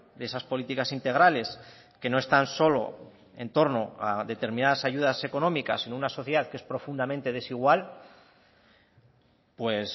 de esas políticas integrales que no están solo en torno a determinadas ayudas económicas sino una sociedad que es profundamente desigual pues